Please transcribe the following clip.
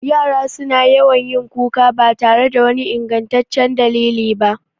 Yara su na yawan yin kuka ba tare da wani ingantaccen dalili ba